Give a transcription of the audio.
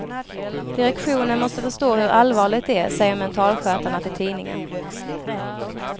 Direktionen måste förstå hur allvarligt det är, säger mentalskötarna till tidningen.